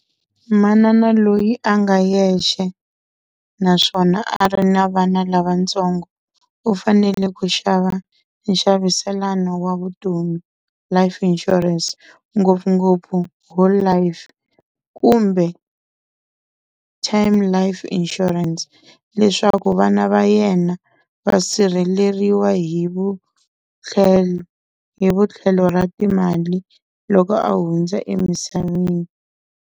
Manana loyi a nga yexe, naswona a ri na vana lavatsongo u fanele ku xava nxaviselano wa vutomi Life Insurance ngopfungopfu Whole Life, kumbe Time Life Insurance leswaku vana va yena va sirheleriwa hi vu hi vutlhelo ra timali loko a hundza emisaveni.